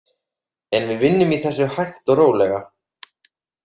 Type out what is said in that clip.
En við vinnum í þessu hægt og rólega.